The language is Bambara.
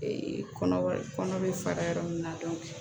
kɔnɔ kɔnɔ bɛ fara yɔrɔ min na